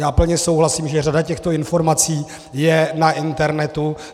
Já plně souhlasím, že řada těchto informací je na internetu.